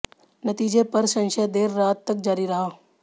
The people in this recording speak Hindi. नतीजे पर संशय देर रात तक जारी रहा